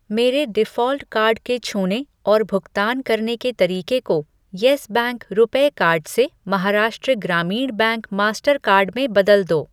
मेरे default card के छूने और भुगतान करने के तरीके को यस बैंक रुपे कार्ड से Maharashtra Gramin bank Mastercard में बदल दो।